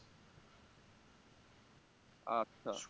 আচ্ছা